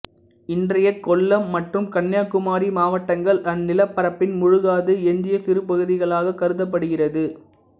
இன்றைய கொல்லம் மற்றும் கன்னியாகுமரி மாவட்டங்கள் அந்நிலப்பரப்பின் மூழ்காது எஞ்சிய சிறுபகுதிகளாகக் கருதப்படுகிறது